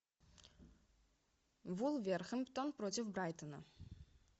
вулверхэмптон против брайтона